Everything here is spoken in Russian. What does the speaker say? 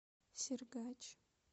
сергач